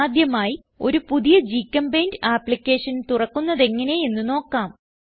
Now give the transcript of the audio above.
ആദ്യമായി ഒരു പുതിയ ഗ്ചെമ്പെയിന്റ് ആപ്പ്ലിക്കേഷൻ തുറക്കുന്നതെങ്ങനെ എന്ന് നോക്കാം